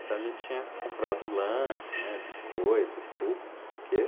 Então a gente tinha comprado lanche, né, biscoito, suco, não sei o quê.